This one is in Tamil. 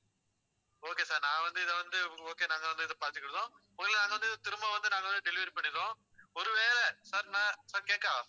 okay sir நான் வந்து இதை வந்து okay நாங்க வந்து இதை பார்த்துக்கிடுவோம் முதல்ல நாங்க வந்து திரும்ப வந்து நாங்க வந்து delivery பண்ணிறோம் ஒருவேளை sir நான் sir கேக்குதா